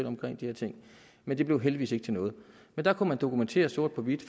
omkring de her ting men det blev heldigvis ikke til noget der kunne man dokumentere sort på hvidt